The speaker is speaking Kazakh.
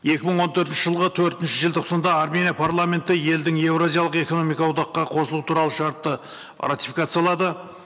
екі мың он төртінші жылғы төртінші желтоқсанда армения парламенті елдің еуразиялық экономикалық одаққа қосылуы туралы шартты ратификациялады